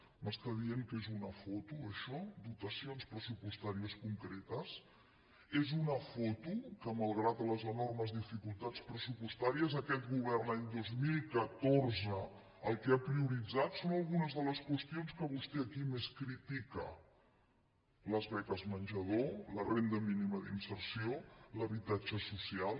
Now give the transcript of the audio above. m’es·tà dient que és una foto això dotacions pressupostà·ries concretes és una foto que malgrat les enormes dificultats pressupostàries aquest govern l’any dos mil catorze el que ha prioritzat són algunes de les qüestions que vostè aquí més critica les beques menjador la ren·da mínima d’inserció l’habitatge social